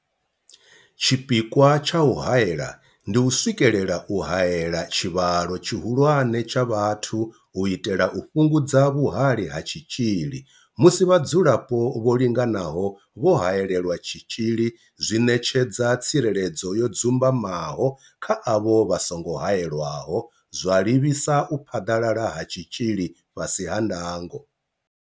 Tshipikwa tsha u haela ndi u swikelela u haela tshivhalo tshihulwane tsha vhathu u itela u fhungudza vhuhali ha tshitzhili, musi vhadzulapo vho linganaho vho haelelwa tshitzhili zwi ṋetshedza tsireledzo yo dzumbamaho kha avho vha songo haelwaho, zwa livhisa u phaḓalala ha tshitzhili fhasi ha ndango.